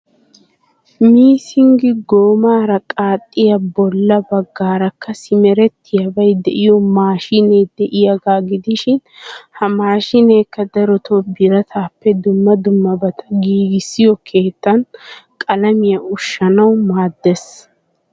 Missing goomaara qaxxiya bolla baggaarakka simerettiyabay de'iyo maashinee de'iyaagaa gidishiin ha maashineekka darotoo birataappe dumma dummabaata giigissiyo keettan qalamiyaa ushshanawu maaddees.